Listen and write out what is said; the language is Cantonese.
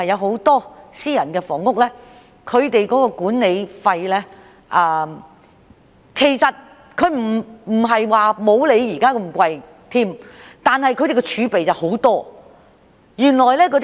很多私人房屋的管理費也不如資助房屋般高昂，但他們的儲備很多。